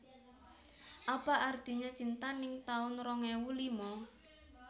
Apa Artinya Cinta ning taun rong ewu lima